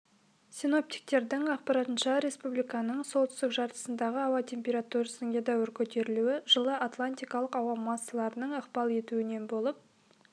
синоптиктердің ақпарынша республиканың солтүстік жартысындағы ауа температурасының едәуір көтерілуі жылы атлантикалық ауа массаларының ықпал етуінен болып